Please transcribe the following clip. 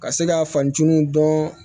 Ka se ka fantanw dɔn